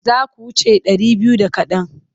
Za su wuce ɗari biyu da kaɗan.